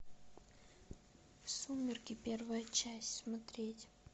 сумерки первая часть смотреть